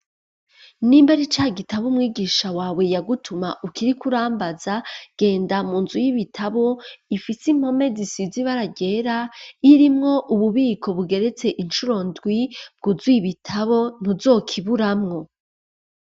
Nimba ari ca gitabo, umwigisha wawe yagutuma, ukiriko urambaza; genda mu nzu y'ibitabo, ifise impome, zisize ibara ryera, irimwo ububiko, bugeretse incuro ndwi, bwuzuye ibitabo, ntuzokiburamwo.